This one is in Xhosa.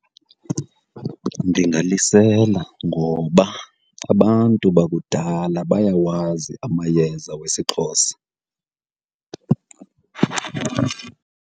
Ndingalisela, ngoba abantu bakudala bayawazi amayeza wesiXhosa.